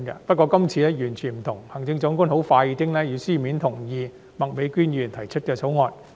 不過，這次完全不一樣，行政長官很快便以書面同意麥美娟議員提出議員法案。